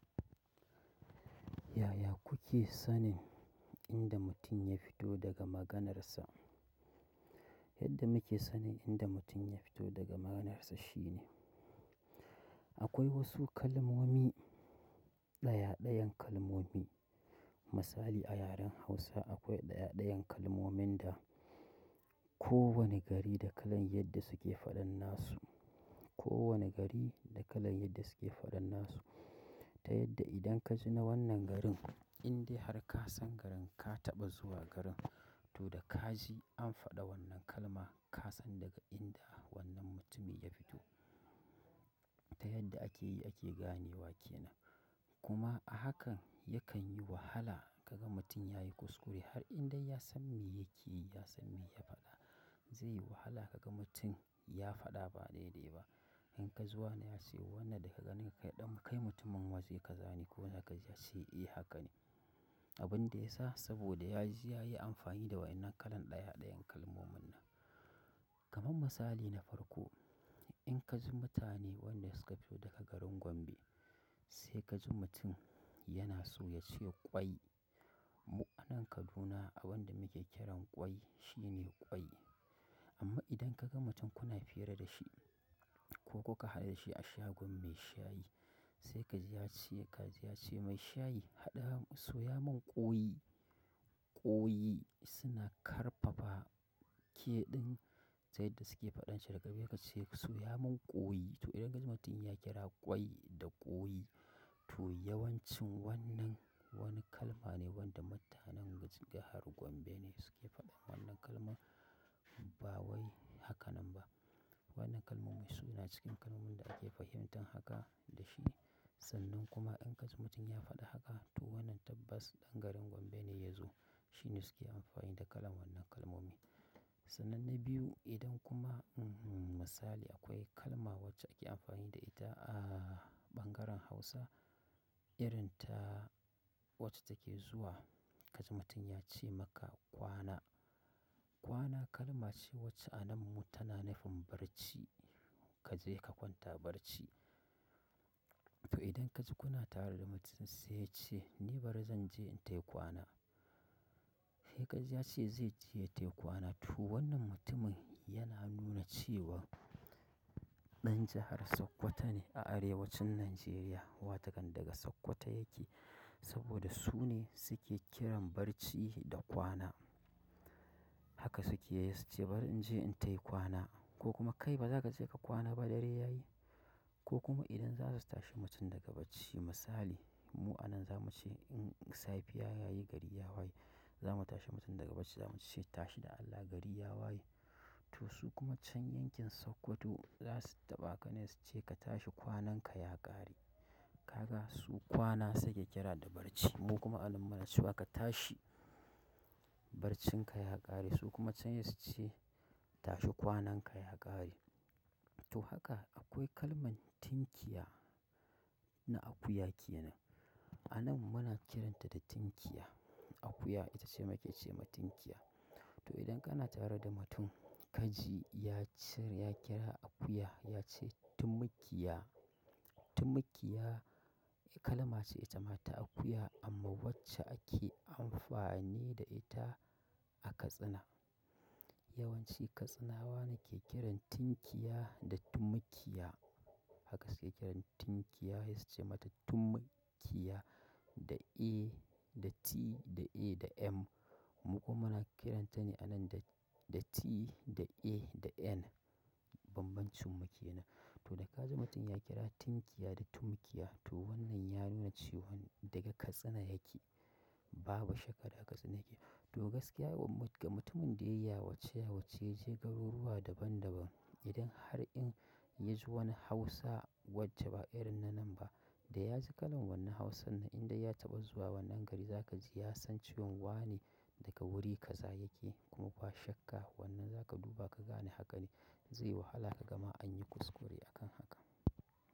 Yaya kuke sanin inda mutum ya fito daga maganarsa? Yadda muke sanin inda mutum ya fito daga maganarsa shine, akwai wasu kalmomi, ɗaya ɗayan kalmomi. Misali a yaren Hausa akwai ɗaya ɗayan kalmominda ko wani gari da kalan yadda suke faɗan nasu. Ko wani gari da kalan yadda suke faɗan nasu. Ta yadda idan ka ji na wannan garin, indai har ka san garin ka taɓa zuwa garin. To dakaji an faɗi wannan kalma kasan daga inda wannan mutumin ya fito. Ta yadda ake yi ake gane wa ke nan. Kuma a haka yakan yi wahala ka ga mutum ya yi kuskure har indai ya san me yake yi, ya san me ya faɗa. Zai yi wahala ka ga mutum ya faɗa ba daidai ba. In kaji wane ya ce wannan daga ganin ka ɗan kai mutumin waje kaza ne ko zakaji yace eh haka ne. Abinda yasa saboda yaji yayi amfani da wannan kalan ɗaya ɗayan kalmomin nan. Kaman misali na farko, in ka ji mutane wanda suka fito daga garin Gombe, sai ka ji mutum yana so ya cewa ƙwai. Mu anan Kaduna a wanda muke kiran ƙwai shine ƙwai. Amma idan ka ga mutum kuna fira da shi ko kuka haɗu da shi a shagon mai shayi, sai kaji ya ce, kaji ya ce mai shayi haɗa soya mun ƙoi. Ƙoyi suna ƙarfafa k ɗin, ta yadda suke faɗan shi daga baya kaji yace soya mun ƙoyi. To idan ka ji mutum ya kira ƙwai da ƙoyi, to yawancin wannan wani kalma ne wanda mutanen jahar Gombe ne suke faɗa. Wannan kalmar ba wai haka nan ba. Wannan kalmomi su na cikin kalmomin da ake fahimtan haka da shi ne. Sannan kuma in ka ji mutum ya faɗa haka, to wannan tabbas ɗan garin Gombe ne ya zo. Shi ne suke amfani da kalan wannan kalmomi. Sanan na biyu idan kuma, mmhm misali akwai kalma wacce ake amfani da ita a ɓangaren Hausa, irin ta wacce take zuwa ka ji mutum ya ce maka kwana. Kwana kalma ce wacce anan mu tana nufin barci. Ka je ka kwanta barci. To idan ka ji kuna tare da mutum sai ya ce ni bari zan je in tai kwana. Saikaji yace zaije ya tai kwana to wannan mutumin yana nuna cewa ɗan jahar Sokoto ne a arewacin Nijeriya watakan daga Sokoto yake saboda su ne suke kiran barci da kwana. Haka suke yi suce bari in je in tai kwana ko kuma kai ba za ka je ka kwana ba dare ya yi. Ko kuma idan za su tashi mutum daga bacci misali, mu anan za mu ce in safiya ya yi gari ya waye, za mu tashi mutum daga bacci za mu ce tashi da Allah gari ya waye. To su kuma can yankin Sokoto za su taɓa ka ne su ce ka tashi kwanan ka ya ƙare. Ka ga su kwana suke kira da barci. Mu kuma anann muna cewa ka tashi barcin ka ya ƙare. Su kuma can saii suce tashi kwanan ka ya ƙare. To haka akwai kalman tunkiya na akuya ke nan. Anan muna kiranta da tunkiya. Akuya ita ce ake ce ma tunkiya. To idan kana tare da mutum kaji ya ce ya kira akuya ya ce tumkiya. Tumkiya kalma ce ita ma ta akuya amma wacce ake amfani ne da ita a Katsina. Yawanci Katsinawa ne ke kiran tunkiya da tumkiya. Haka suke kiran tunkiya sai su ce mata tumkiya da a, da T, da a, da M. Mu kuma muna kiranta ne anan da, da T, da a, da N. Banban cinmu ke nan. To da ka ji mutum ya kira tunkiya da tumkiya to wannan ya nuna cewan daga Katsina yake. Babu shakka daga Katsina yake. To gaskiya ga mutumin da ya yi yawace yawace ya je garuruwa daban daban, idan har in ya ji wani Hausa wacce ba irin na nan ba, da ya ji kalan wannan Hausan nan indai ya taɓa zuwa wannan gari za ka ji ya san cewan wa ne daga wuri ka za yake. Kuma ba shakka wannan za ka duba ka gane haka ne. Zai yi wahala ka gama an yi kuskure a kan haka.